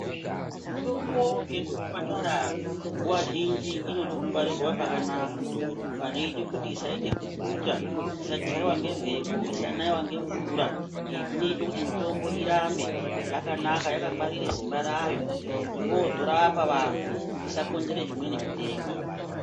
Mitombo yemuzvipatara nguwa zhinji inode kungwarirwa pakanaka panoite kuti usaite bukuta isachaiwa ngemepo isanaiwa ngemvura , izvi zvinoita kuti mitombo irambe yakanaka yakangwarire simba rayo kuti vozorapa vantu isakonzete zvimweni zvitenda.